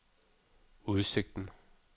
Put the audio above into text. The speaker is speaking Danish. udsigten